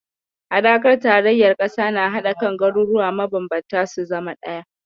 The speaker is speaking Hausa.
Haɗakar tarayyar ƙasa na haɗa kan garuruwa mabanbanta su zama ɗaya.